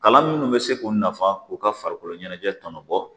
Kalan minnu bɛ se k'u nafa k'u ka farikolo ɲɛnajɛ tɔnɔ bɔ